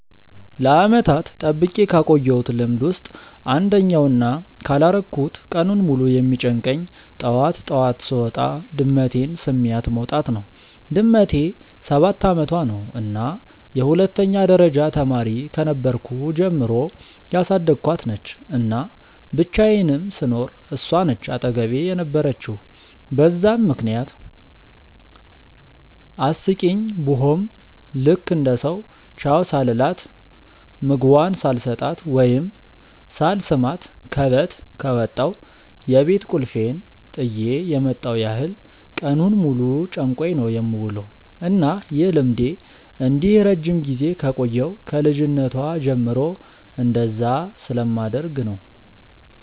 ለዓመታት ጠብቄ ካቆየውት ልምድ ውስጥ አንደኛው እና ካላረኩት ቀኑን ሙሉ የሚጨንቀኝ ጠዋት ጠዋት ስወጣ ድመቴን ስሚያት መውጣት ነው። ድመቴ ሰባት አመቷ ነው እና የሁለተኛ ደረጃ ተማሪ ከነበርኩ ጀምሮ ያሳደኳት ነች፤ እና ብቻየንም ስኖር እሷ ነች አጠገቤ የነበረችው በዛም ምክንያት አስቂኝ ቡሆም ልክ እንደ ሰው ቻው ሳልላት፣ ምግቧን ሳልሰጣት ወይም ሳልስማት ከበት ከወጣው የቤት ቁልፌን ጥየ የመጣው ያህል ቀኑን ሙሉ ጨንቆኝ ነው የምውለው። እና ይህ ልምዴ እንዲህ ረጅም ጊዜ የቆየው ከ ልጅነቷ ጀምሮ እንደዛ ስለማደርግ ነው።